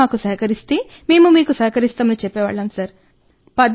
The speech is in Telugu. మీరు మాకు సహకరిస్తే మేము మీకు సహకరిస్తామని చెప్పేవాళ్ళం సార్